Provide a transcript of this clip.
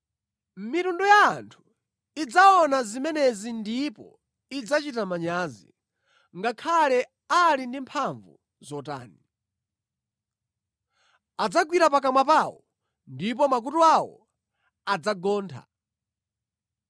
Mitundu ya anthu idzaona zimenezi ndipo idzachita manyazi, ngakhale ali ndi mphamvu zotani. Adzagwira pakamwa pawo ndipo makutu awo adzagontha.